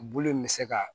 Bulu in bɛ se ka